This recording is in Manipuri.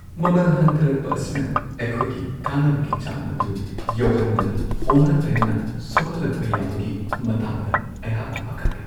ꯃꯃꯜ ꯍꯟꯊꯔꯛꯄ ꯑꯁꯤꯅ ꯑꯩꯈꯣꯏꯒꯤ ꯀꯥꯟꯅꯕꯒꯤ ꯆꯥꯡ ꯑꯗꯨ ꯌꯧꯍꯟꯗꯅ ꯑꯣꯅ-ꯇꯩꯅꯅ ꯁꯣꯛꯍꯜꯂꯛꯄ ꯌꯥꯕꯒꯤ ꯃꯇꯥꯡꯗ ꯑꯩꯍꯥꯛꯅ ꯄꯥꯈꯠꯂꯤ ꯫